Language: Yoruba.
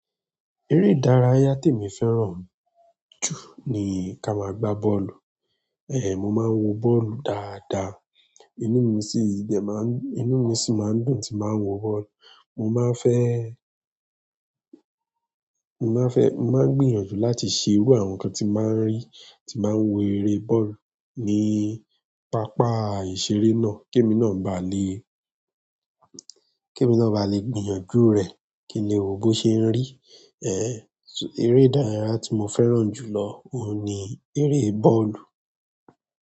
Eré ìdárayá tí mo fẹ́ràn jù ni ká máa gbá bọ́ọ̀lù. Ehn, mo máa ń wo bọ́ọ̀lù dáadáa, inú mi sì de má ń, inú mi sì máa ń dùn tí máa ń wo bọ́ọ̀lù. Mo máa ń fẹ́, mo máa ń fẹ́, mo máa ń gbìyànjú láti ṣe irú àwọn nǹkan tí màá ń rí, tí màá ń wo eré bọ́ọ̀lù ní pápá ìṣeré náà, kí èmi náà ba lè, kí èmi náà ba lè gbìyànjú rẹ̀ kíni òun ṣe ń rí. Ehn, eré ìdárayá tí mo fẹ́ràn jù lọ òun ni eré bọ́ọ̀lù.